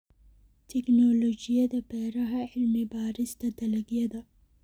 Tignoolajiyada Beeraha Cilmi-baarista dalagyada.